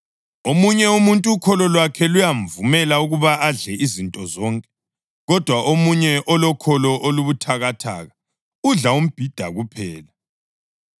Omunye umuntu ukholo lwakhe luyamvumela ukuba adle izinto zonke, kodwa omunye umuntu olokholo olubuthakathaka, udla imbhida kuphela.